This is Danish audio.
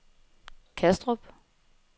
Kastrup